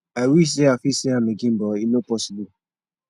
i wish say i fit see am again but e no posssible